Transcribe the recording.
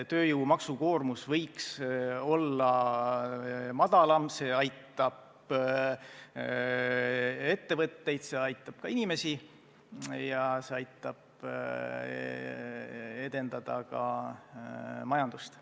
Tööjõu maksukoormus võiks olla madalam, see aitab ettevõtteid, see aitab inimesi ja see aitab edendada ka majandust.